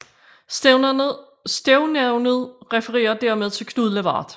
Stednavnet refererer dermed til Knud Lavard